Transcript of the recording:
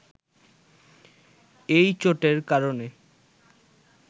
এই চোটের কারণে